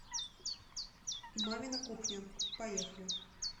мамина кухня поехали